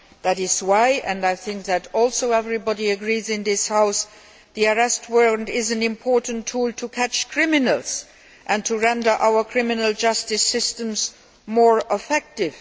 That is why, and I think that everybody in this House agrees, the Arrest Warrant is an important tool to catch criminals and to render our criminal justice systems more effective.